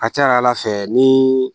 A ka ca ala fɛ ni